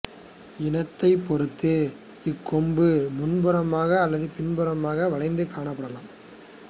இனத்தைப் பொறுத்து இக் கொம்பு முன்புறமாக அல்லது பின்புறமாக வளைந்து காணப்படலாம்